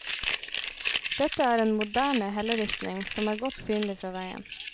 Dette er en moderne helleristning som er godt synlig fra veien.